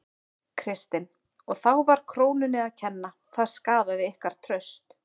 Kristinn: Og þá var krónunni að kenna, það skaðaði ykkar traust?